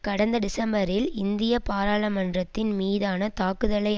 கடந்த டிசம்பரில் இந்திய பாராளுமன்றத்தின் மீதான தாக்குதலை